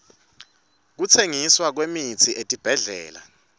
kutsengiswa kwemitsi etibhedlela